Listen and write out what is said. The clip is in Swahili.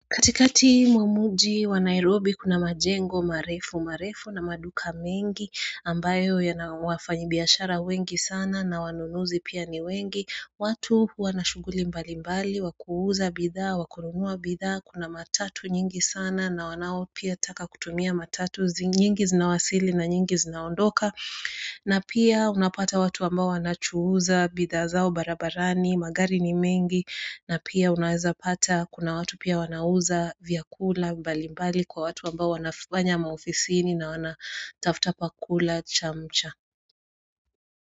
Katikati mwa mji wa Nairobi kuna majengo, marefu, marefu na maduka mengi ambayo yana wafanyibiashara wengi sana na wanunuzi pia ni wengi, watu wanashughuli mbalimbali, wa kuuza bidhaa, wa kununua bidhaa, kuna matatu nyingi sana na wanao pia taka kutumia matatu nyingi zinawasili na nyingi zinaondoka na pia unapata watu ambao wanachuuza bidhaa zao barabarani, magari ni mengi, na pia unaweza pata kuna watu pia wanauza vyakula mbalimbali kwa watu ambao wanafanya maofisini na wanatafta pa kula chamcha.